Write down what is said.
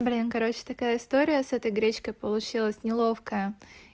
блин короче такая история с этой гречкой получилась неловкая